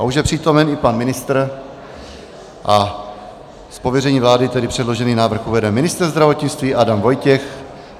A už je přítomen i pan ministr, z pověření vlády tedy předložený návrh uvede ministr zdravotnictví Adam Vojtěch.